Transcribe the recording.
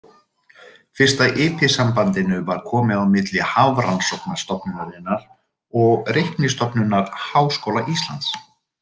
Fyrsta IP-sambandinu var komið á milli Hafrannsóknastofnunarinnar og Reiknistofnunar Háskóla Íslands.